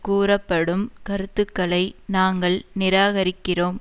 கூறப்படும் கருத்துருக்களை நாங்கள் நிராகரிக்கிறோம்